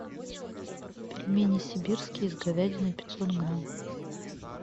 пельмени сибирские с говядиной пятьсот грамм